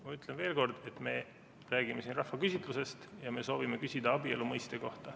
Ma ütlen veel kord, et me räägime siin rahvaküsitlusest ja me soovime küsida abielu mõiste kohta.